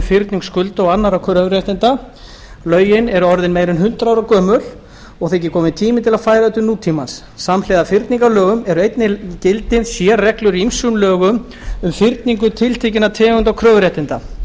fyrning skulda og annarra kröfuréttinda lögin eru orðin meira en hundrað ára gömul og þykir kominn tími til að færa þau til nútímans samhliða fyrningarlögum eru einnig í gildi sérreglur í ýmsum lögum um fyrningu tiltekinna tegunda kröfuréttinda